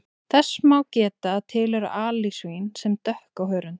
Þess má geta að til eru alisvín sem dökk á hörund.